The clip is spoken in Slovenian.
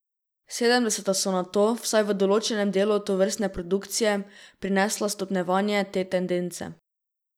Sedemdeseta so nato, vsaj v določenem delu tovrstne produkcije, prinesla stopnjevanje te tendence.